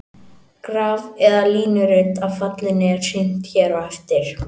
Graf eða línurit af fallinu er sýnt hér á eftir.